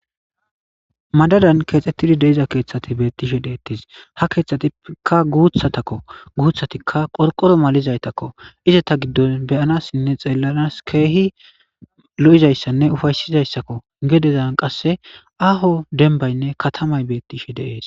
madadan keexxettidi deiza keeththati beettishe deettis ha keeththatikka guuthatakko guuthatikka qorqoro malizaytakko ize ta giddon beyanassinne xeellanas keehi lo7izayssanne ufaysizayssakko gedezan qasse aaho denbaynne katamay beettishe deees